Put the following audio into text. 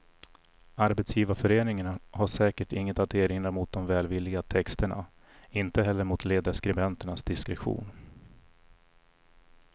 Arbetsgivarföreningen har säkert inget att erinra mot de välvilliga texterna, inte heller mot ledarskribenternas diskretion.